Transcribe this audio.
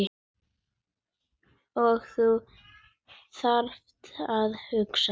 Og þú þarft að hugsa.